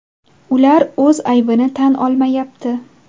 Ular o‘z aybini tan olmayapti.